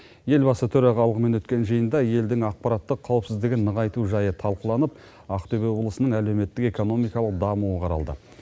елбасы төрағалығымен өткен жиында елдің ақпараттық қауіпсіздігін нығайту жайы талқыланып ақтөбе облысының әлеуметтік экономикалық дамуы қаралды